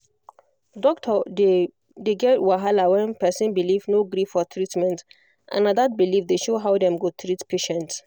doctor dey dey get wahala when person belief no gree for treatment and na that belief dey show how dem go treat patient